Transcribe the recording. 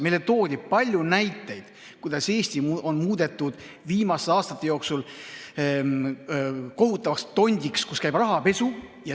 Meile toodi palju näiteid, kuidas Eesti on viimaste aastate jooksul muudetud kohutavaks tondiks ja siin käib rahapesu.